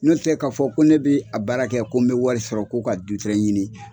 N'o tɛ k'a fɔ ko ne bɛ a baara kɛ ko n bɛ wari sɔrɔ ko ka du ɲini